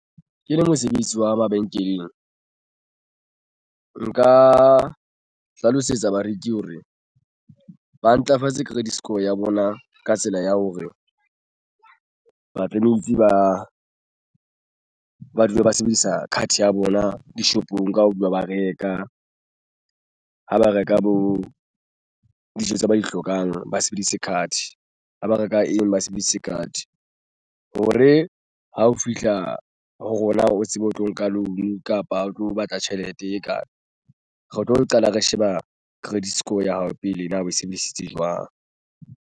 Ke le mosebetsi wa mabenkeleng nka hlalosetsa bareki hore ba ntlafatse credit score ya bona ka tsela ya hore basebetsi ba dule ba sebedisa card ya bona dishopong ka ho dula ba reka ha ba reka bo dijo tse ba di hlokang, ba sebedise card ha ba reka eng ba sebedise card hore ha o fihla ho rona o tsebe o tlo nka loan kapa o tlo batla tjhelete e kae re tlo qala re sheba credit score ya hao pele na o sebedisitse jwang.